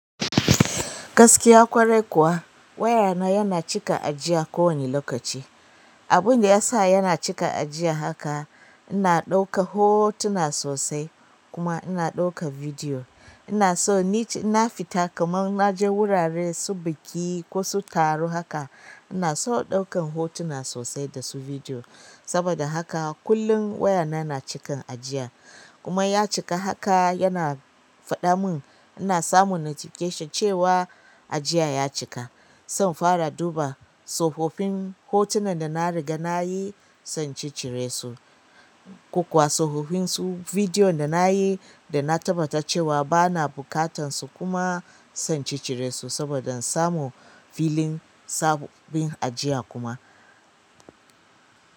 Gaskiya ƙwarai kuwa waya na yana cika ajiya ko wane lokaci. Abun da ya sa yana cika ajiya haka, ina ɗauka hotuna sosai kuma ina ɗauka bidiyo. Ina so nice ina fita kamar na je wurare su biki ko su taro haka ina so ɗaukan hotuna sosai da su bidiyo. Saboda haka kullum waya na yana cikan ajiya. Kuma ya cika haka yana faɗa mun, ina samun notification cewa ajiya ya cika. Zan fara duba tsofaffin hotunan da na riga na yi sai in ci cire su, ko kuwa tsofaffin su bidiyon da na yi da na tabbata cewa bana buƙatun su kuma sai in ci cire su saboda in samu filin sababbin ajiya kuma.